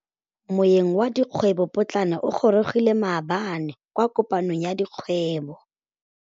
Moêng wa dikgwêbô pôtlana o gorogile maabane kwa kopanong ya dikgwêbô.